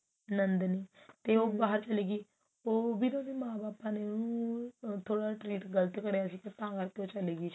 ਨੰਦਨੀ ਤੇ ਉਹ ਬਾਹਰ ਚਲੀ ਗਈ ਉਹ ਵੀ ਤਾਂ ਉਹਦੇ ਮਾਂ ਬਾਪਾ ਨੇ ਉਹਨੂੰ ਥੋੜਾ ਜਾ treat ਗਲਤ ਕਰਿਆ ਸੀ ਤਾਂ ਕਰਕੇ ਉਹ ਚੀ ਗਈ